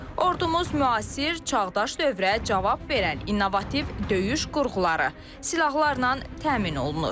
Ordumuz müasir, çağdaş dövrə cavab verən innovativ döyüş qurğuları, silahlarla təmin olunur.